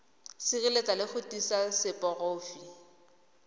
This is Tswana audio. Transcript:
sireletsa le go tiisa seporofe